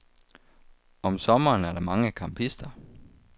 Om sommeren er der mange campister.